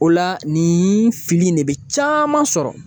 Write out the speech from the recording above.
O la nin fili in de bɛ caman sɔrɔ